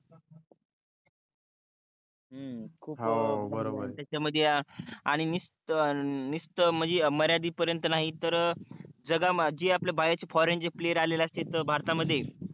हम्म हो बरोबर आहे खूप त्याच्या मध्ये आणि निशत निशत म्हणजे मर्यादे पर्यन्त नाही तर जागा जे आपल्या बाहेरचे foreign player आहे भारता मध्ये